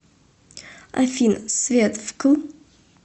афина свет вкл